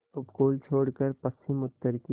उपकूल छोड़कर पश्चिमउत्तर की